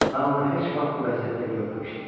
Mən onu heç vaxt bu vəziyyətdə görməmişdim.